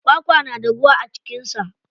Kwakwa na da ruwa a cikin sa.